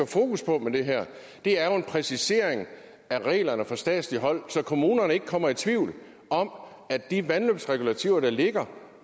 fokus på med det her er jo en præcisering af reglerne fra statsligt hold så kommunerne ikke kommer i tvivl om at de vandløbsregulativer der ligger